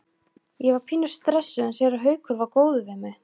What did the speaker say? Ég var pínu stressuð en séra Haukur var góður við mig.